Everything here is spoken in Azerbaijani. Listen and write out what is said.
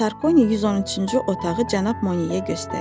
Sarkoni 113-cü otağı cənab Monyeyə göstərir.